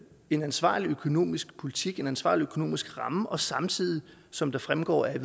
en ansvarlig økonomisk politik en ansvarlig økonomisk ramme og samtidig som det fremgår af